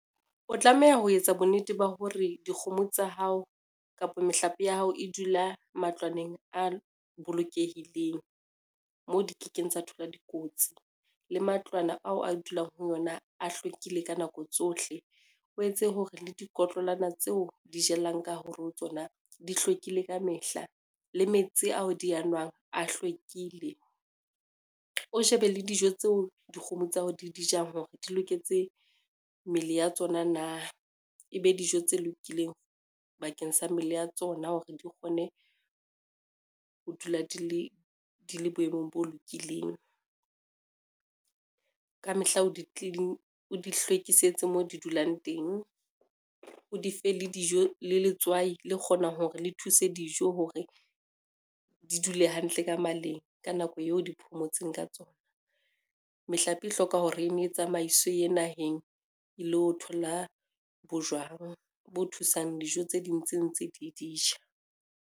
O tlameha ho etsa bonnete ba hore dikgomo tsa hao kapa mehlape ya hao e dula matlwaneng a bolokehileng, moo di kekeng tsa thola dikotsi le matlwana ao a dulang ho yona a hlwekile ka nako tsohle, o etse hore le diikotlolwana tseo di jellang ka hare ho tsona di hlwekile ka mehla le metsi ao di a nwang a hlwekile. O shebe le dijo tseo dikgomo tsa hao di dijang hore di loketse mmele ya tsona na, e be dijo tse lokileng bakeng sa mmele ya tsona hore di kgone ho dula di le boemong bo lokileng. Ka mehla o di hlwekisitse mo di dulang teng, o dife le dijo le letswai le kgonang hore le thuse dijo hore di dule hantle ka maleng, ka nako eo di phomotseng ka tsona. Mehlape e hloka hore e ne e tsamaiswe e ye naheng e le ho thola bojwang bo thusang dijo tse ding tse ntse di dija.